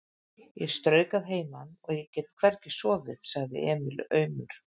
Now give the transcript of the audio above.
Ég strauk að heiman og ég get hvergi sofið, sagði Emil aumur.